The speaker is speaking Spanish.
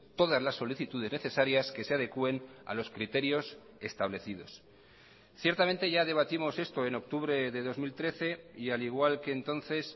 todas las solicitudes necesarias que se adecuen a los criterios establecidos ciertamente ya debatimos esto en octubre de dos mil trece y al igual que entonces